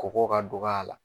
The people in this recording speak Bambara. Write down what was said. Kɔgɔ ka dɔgɔ a la.